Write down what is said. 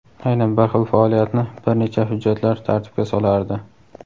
aynan bir xil faoliyatni bir necha hujjatlar tartibga solardi.